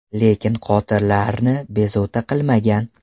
Lekin qotillarni bezovta qilmagan.